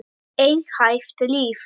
Einhæft líf.